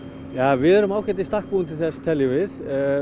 við erum ágætlega í stakk búin til þess teljum við